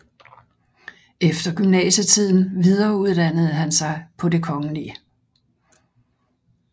Efter gymnasietiden videreuddannede han sig på Det Kgl